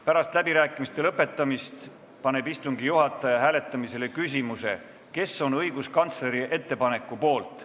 Pärast läbirääkimiste lõpetamist paneb istungi juhataja hääletamisele küsimuse, kes on õiguskantsleri ettepaneku poolt.